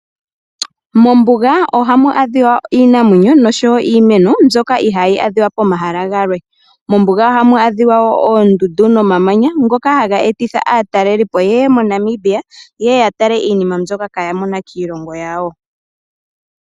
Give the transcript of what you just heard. Mombuga ohamu adhiwa iinamwenyo noshowo iimeno mbyoka ihayi adhiwa pomahala galwe. Mombuga ohamu adhiwa wo oondundu nomamanya ngoka haga etitha aatalelipo ye ye moNamibia, ye ye ya tale iinima mbyoka kaya mona kiilongo yawo.